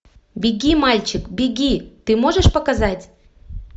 беги мальчик беги ты можешь показать